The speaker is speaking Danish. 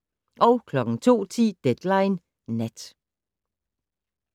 02:10: Deadline Nat